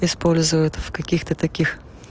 используют в каких-то таких